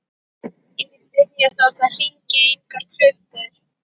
Ég get byrjað þótt það hringi engar klukkur.